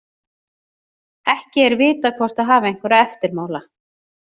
Ekki er vitað hvort það hafi einhverja eftirmála.